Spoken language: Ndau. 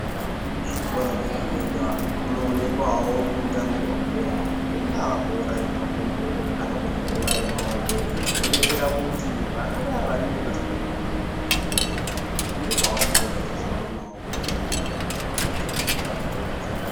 Kuzvikora kwega kwega kunoonekwawo kunokutambirwa bhora rigava bhora remakumbo kana bhora remaoko zvinodetsera kuti vana vaya vasingagoni chikora uku ndikwo kwavanenge vachizoonawo kuvaraidzawo pazuva.